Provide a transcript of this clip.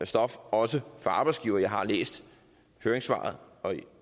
stof også for arbejdsgiverne jeg har læst høringssvaret